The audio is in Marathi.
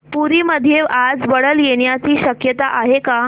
पुरी मध्ये आज वादळ येण्याची शक्यता आहे का